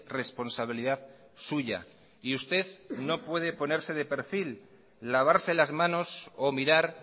responsabilidad suya y usted no puede ponerse de perfil lavarse las manos o mirar